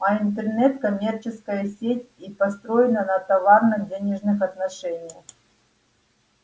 а интернет коммерческая сеть и построена на товарно-денежных отношениях